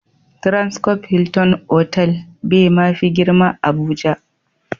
"Transcope Hilton" otal be ma fi girma a Abuja.